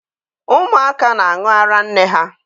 Ụmụaka na-aṅụ ara nne ha